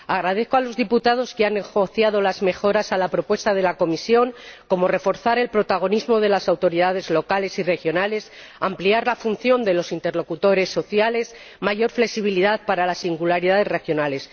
Les doy las gracias a los diputados que han negociado las mejoras a la propuesta de la Comisión, como reforzar el protagonismo de las autoridades locales y regionales, ampliar la función de los interlocutores sociales o dar una mayor flexibilidad para las singularidades regionales.